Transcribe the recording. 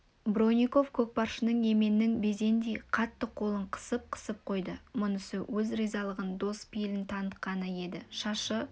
бронников көкпаршының еменнің безіндей қатты қолын қысып-қысып қойды мұнысы өз ризалығын дос пейілін танытқаны еді шашы